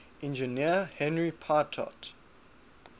engineer henri pitot